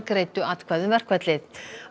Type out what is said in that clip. greiddu atkvæði um verkfallið